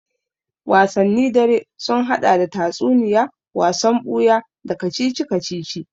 Wasanni dare sun haɗa da tatsuniya, wasan buya, da kacici-kacici